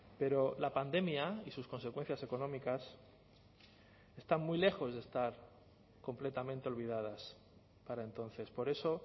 pero la pandemia y sus consecuencias económicas están muy lejos de estar completamente olvidadas para entonces por eso